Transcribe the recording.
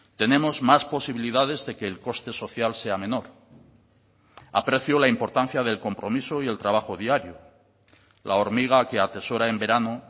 tenemos más posibilidades de que el coste social sea menor aprecio la importancia del compromiso y el trabajo diario la hormiga que atesora en verano